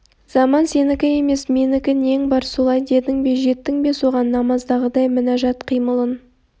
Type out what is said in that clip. заман сенікі емес менікі нең бар солай дедің бе жеттің бе соған намаздағыдай мінажат қимылын